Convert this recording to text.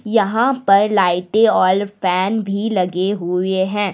यहां पर लाइटे और फैन भी लगे हुए हैं।